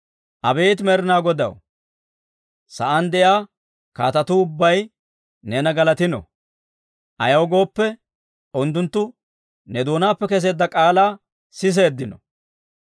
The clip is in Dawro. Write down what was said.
Abeet Med'inaa Godaw, sa'aan de'iyaa kaatetuu ubbay, neena galatino; ayaw gooppe, unttunttu ne doonaappe keseedda k'aalaa siseeddino.